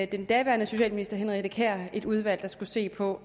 den daværende socialminister henriette kjær et udvalg der skulle se på